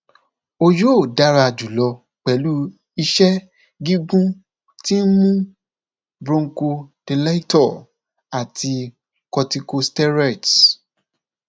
o yoo dara julọ pẹlu iṣẹ gigun ti nmu bronchodilator ati corticosteroids